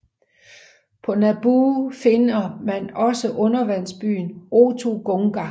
På Naboo finder man også undervandsbyen Otoh Gunga